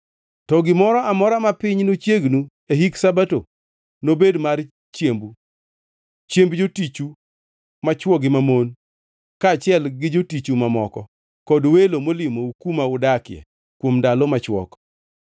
To gimoro amora ma piny nochiegnu e hik Sabato nobed mar chiembu, chiemb jotichu machwo gi mamon kaachiel gi jotichu mamoko, kod welo molimou kuma udakie kuom ndalo machwok,